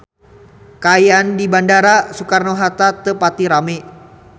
Kaayaan di Bandara Soekarno Hatta teu pati rame